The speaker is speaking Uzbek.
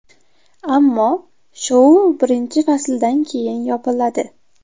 Ammo shou birinchi fasldan keyin yopiladi.